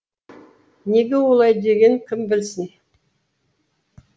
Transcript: неге олай дегенін кім білсін